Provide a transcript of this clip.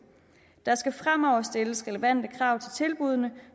der skal fremover stilles relevante krav til tilbuddene